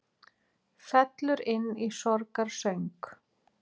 Fellur inn í sorgarsöng